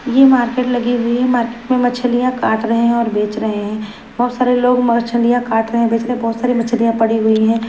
यह मार्केट लगी हुई है मार्केट में मछलियां काट रहे हैं और बेच रहे हैं बहुत सारे लोग मछलियां काट रहे हैं बेच रहे हैं बहुत सारी मछलियां पड़ी हुई हैं।